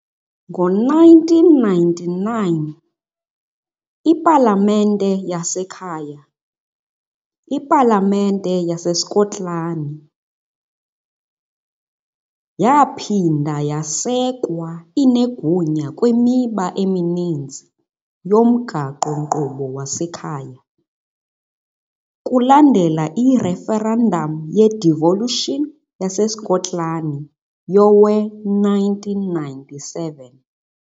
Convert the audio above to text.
Ngo-1999, ipalamente yasekhaya, iPalamente yaseSkotlani, yaphinda yasekwa, inegunya kwimiba emininzi yomgaqo-nkqubo wasekhaya, kulandela i-referendamu ye-devolution yaseSkotlani yowe-1997.